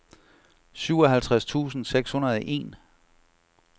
syvoghalvtreds tusind seks hundrede og en